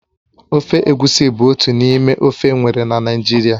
Ofe egusi bụ otu n'ime ofe enwere na Naịjirịa